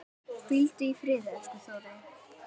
Hvíldu í friði, elsku Þórey.